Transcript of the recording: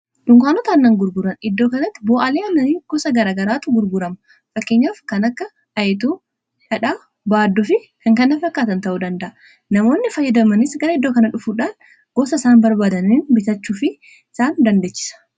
dunkaanoota aannan gurguran iddoo kanatti bu'alee aananii gosa garagaraatu gurgurama fakkeenyaaf kan akka ayituu, dhadhaa, baadduufi kan kana fakkaatan ta'uu danda'a. namoonni fayyadamanis gara iddoo kana dhufuudhaan gosa isaan barbaadaniin bitachuufi isaan dandeechisa.